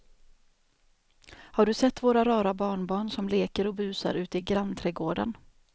Har du sett våra rara barnbarn som leker och busar ute i grannträdgården!